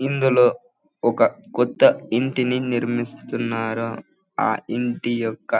ఇందులో ఒక కొత్త ఇంటిని నిర్మిస్తున్నారు. ఆ ఇంటి యొక్క--